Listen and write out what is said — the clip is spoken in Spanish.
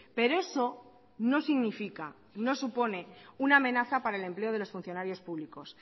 pero eso no significa no supone una amenaza para el empleo de los funcionarios públicos